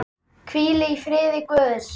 Hvíl í friði Guðs.